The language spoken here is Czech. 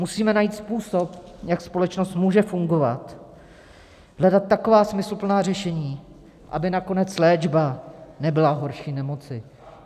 Musíme najít způsob, jak společnost může fungovat, hledat taková smysluplná řešení, aby nakonec léčba nebyla horší nemoci.